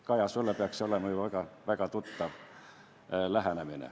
Kaja, sulle peaks see olema ju väga tuttav lähenemine.